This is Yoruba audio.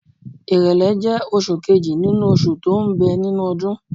Èrèlé jẹ́ oṣù kejì nínú oṣù tó ń bẹ nínú ọdún.